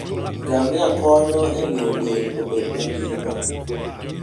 Ngamia konyo e miyo del obed mangima